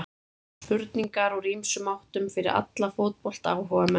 Spurningar úr ýmsum áttum fyrir alla fótboltaáhugamenn.